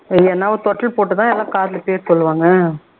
இல்லைனா ஒரு தொட்டில் போட்டு தான் எல்லாம் காதுல பேர் சொல்லுவாங்க